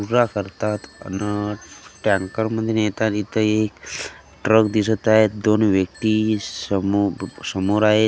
करतात आन अ टॅंकरमध्ये नेता नेता ये ट्रक दिसत आहे दोन व्यक्ती समो ब समोर आहेत अन एक --